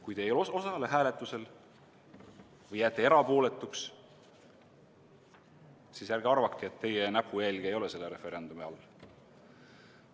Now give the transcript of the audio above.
Kui te ei osale hääletusel või jääte erapooletuks, siis ärge arvake, et teie näpujälge ei ole selle referendumi all.